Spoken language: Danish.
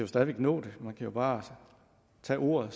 stadig væk nå det man kan bare tage ordet